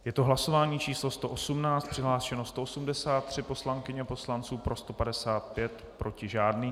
Je to hlasování číslo 118, přihlášeno 183 poslankyň a poslanců, pro 155, proti žádný.